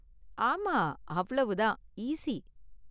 ஆமா, அவ்வளவு தான், ஈஸி.